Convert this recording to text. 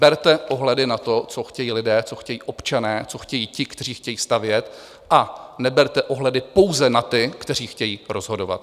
Berte ohledy na to, co chtějí lidé, co chtějí občané, co chtějí ti, kteří chtějí stavět, a neberte ohledy pouze na ty, kteří chtějí rozhodovat.